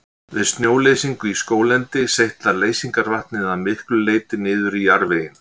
Við snjóleysingu í skóglendi seytlar leysingarvatnið að miklu leyti niður í jarðveginn.